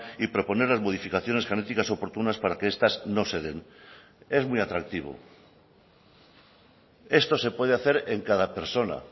y proponer las modificaciones genéticas oportunas para que estas no se den es muy atractivo esto se puede hacer en cada persona